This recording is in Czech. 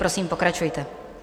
Prosím, pokračujte.